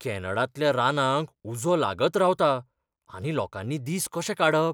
कॅनडांतल्या रानांक उजो लागत रावता, आतां लोकांनी दीस कशे काडप?